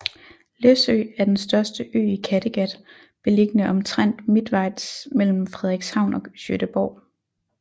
Læsø er den største ø i Kattegat beliggende omtrent midtvejs mellem Frederikshavn og Gøteborg